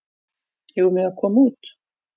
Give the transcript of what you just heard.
Eigum við að koma út?